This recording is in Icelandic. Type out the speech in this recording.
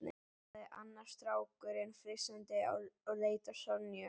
sagði annar strákurinn flissandi og leit á Sonju.